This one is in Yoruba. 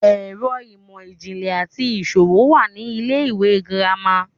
ẹkọ imọ-jinlẹ ati iṣowo wa ni ile-iwe gírama